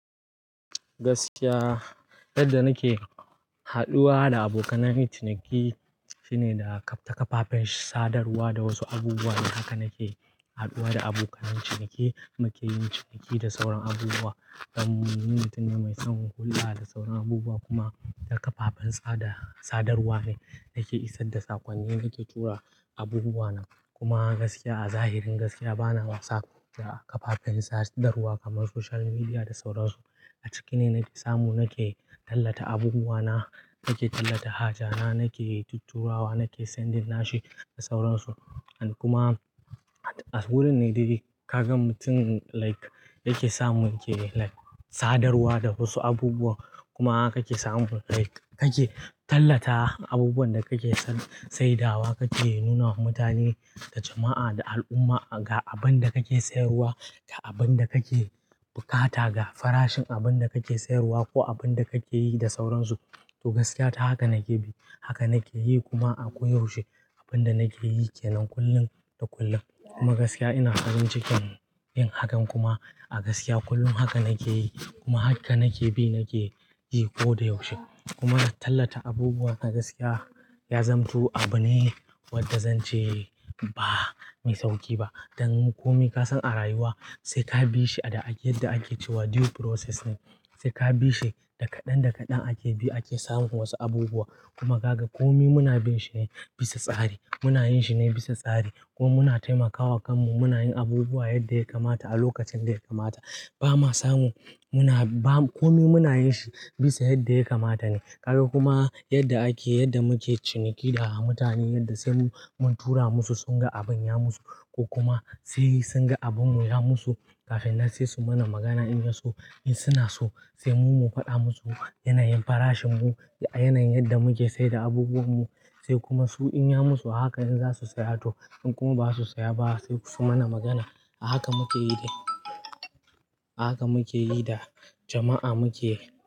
Gaskiya yadda nake haduwa da abokanai ciniki shine da ta kafafen sadarwa da wasu abubuwa. Haka nake haduwa da abokanai ciniki, muke yin ciniki da sauran abubuwa. Dan ni mutum ne mai son hulɗa da sauran abubuwa kuma ta kafafen sadarwa ne yake isar da sakonni, yake tura abubuwana. Kuma gaskiya a zahirin gaskiya bana wasa da kafafen sadarwa kamar social media da sauran su. A ciki ne nake samu, nake tallata abubuwana, nake tallata haja na, nake tutturawa, nake sending nashi da sauran su. Kuma wurin ne dai ga mutum like yake samu yake like sadarwa da wasu abubuwa kuma kake samu like kake tallata abubuwan da kake saidawa kake nuna wa mutane da jama'a da al'umma ga abin da kake sayarwa, ga abin da kake bukata, ga farashin abin da kake sayarwa ko abin da kake yi da sauran su. To gaskiya ta haka nake bi, haka nake yi kuma a koyaushe abin da nake yi ke nan kullum da kullum. Kuma gaskiya ina farin cikin yin hakan kuma a gaskiya kullum haka nake yi kuma haka nake bi nake yi ko da yaushe. Kuma tallata abubuwa a gaskiya ya zantu abu ne wadda zan ce ba mai sauƙi ba. Dan komai ka san a rayuwa sai ka bi shi a da ake yadda ake cewa due process ne. Sai ka bi shi, da kaɗan kaɗan ake bi ake samun wasu abubuwa. Kuma gaga komai muna bin shi ne bisa tsari. Muna yin shi ne bisa tsari ko muna taimakawa kanmu, muna yin abubuwa yadda ya kamata a lokacin da ya kamata. Ba ma samu muna ba komai muna yin shi bisa yadda ya kamata ne. Kaga kuma yadda ake yadda muke ciniki da mutane yadda sai mun tura musu sun ga abin ya musu ko kuma sai sun ga abin mu ya musu kafin na sai su mana magana in ya so. In suna so sai mu mu faɗa musu yanayin farashin mu a yanayin yadda muke saida abubuwan mu. Sai kuma su in ya musu haka in za su saya to in kuma ba su saya ba sai su mana magana. A haka muke yi da haka muke yi da jama'a muke.